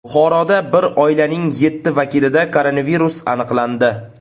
Buxoroda bir oilaning yetti vakilida koronavirus aniqlandi.